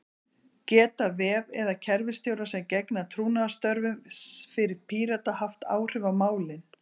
Geta vef- eða kerfisstjórar sem gegna trúnaðarstörfum fyrir Pírata haft áhrif á málin?